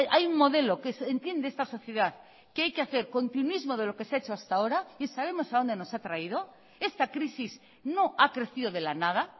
hay un modelo que entiende esta sociedad que hay que hacer continuismo de lo que se ha hecho hasta ahora y sabemos a dónde nos ha traído esta crisis no ha crecido de la nada